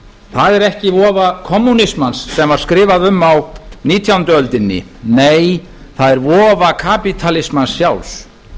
það er ekki vofa kommúnismans sem var skrifað um á nítjándu öldinni nei það er vofa kapítalismans sjálfs